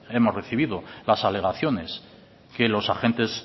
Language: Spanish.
hemos recibido las alegaciones que los agentes